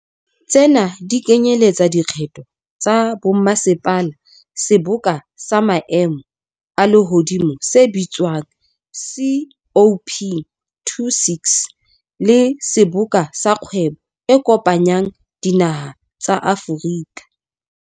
Tsena di kenyeletsa dikgetho tsa bommasepala, seboka sa maemo a lehodimo se bitswa ng COP26, le Seboka sa Kgwebo e Kopanyang Dinaha tsa Afrika.